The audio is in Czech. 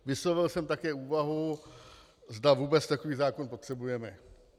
Vyslovil jsem také úvahu, zda vůbec takový zákon potřebujeme.